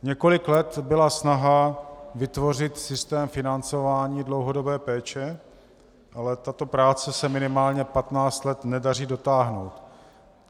Několik let byla snaha vytvořit systém financování dlouhodobé péče, ale tato práce se minimálně 15 let nedaří dotáhnout.